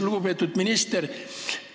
Lugupeetud minister!